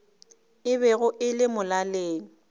e bego e le molaleng